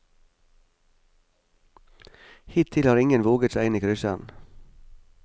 Hittil har ingen våget seg inn i krysseren.